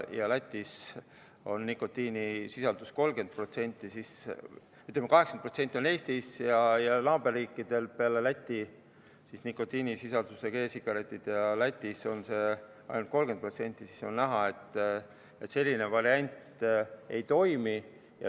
Kui Lätis on nikotiinisisaldusega e-vedelike müük 30%, Eestis ja naaberriikidel 80%, siis on näha, et selline variant ei toimi.